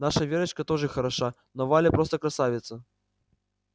наша верочка тоже хороша но валя просто красавица